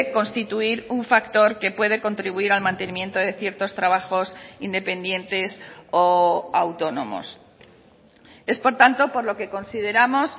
constituir un factor que puede contribuir al mantenimiento de ciertos trabajos independientes o autónomos es por tanto por lo que consideramos